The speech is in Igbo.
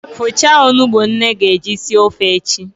Fọchaa onugbu nne ga-eji sie ofe echi!